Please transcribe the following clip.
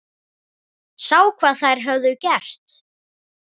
Sá hvað þær höfðu gert.